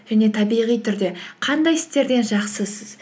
және табиғи түрде қандай істерден жақсысыз